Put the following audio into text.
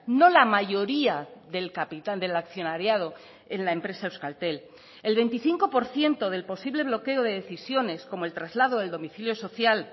no la mayoría del capital del accionariado en la empresa euskaltel el veinticinco por ciento del posible bloqueo de decisiones como el traslado del domicilio social